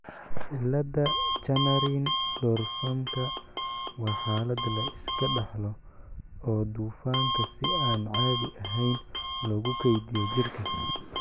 cilada Chanarin Dorfmanka waa xaalad la iska dhaxlo oo dufanka si aan caadi ahayn loogu keydiyo jirka.